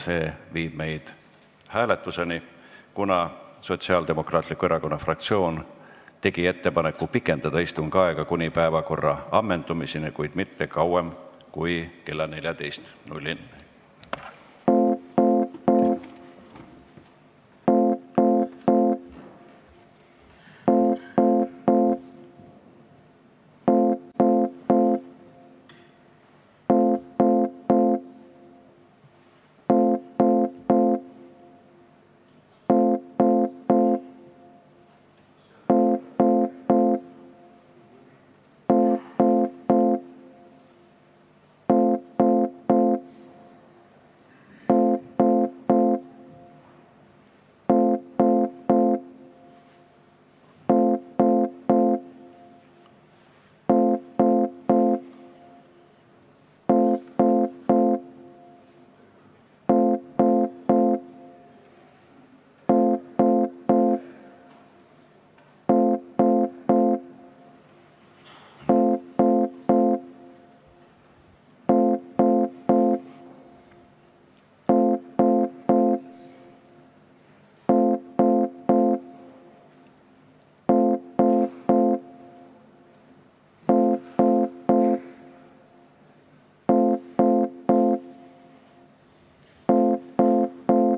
See viib meid hääletuseni, kuna Sotsiaaldemokraatliku Erakonna fraktsioon tegi ettepaneku pikendada istungi aega kuni päevakorra ammendumiseni, kuid mitte kauem kui kella 14-ni.